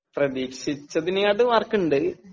പ്രതീക്ഷിച്ചതിനെക്കാട്ടീം മാർക്കുണ്ട്....